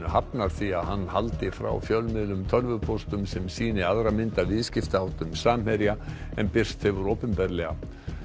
hafnar því að hann haldi frá fjölmiðlum tölvupóstum sem sýni aðra mynd af viðskiptaháttum Samherja en birst hefur opinberlega